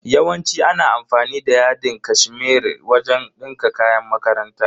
Yawanci ana amfani da yadin cashmere wajen dinka kayan makaranta.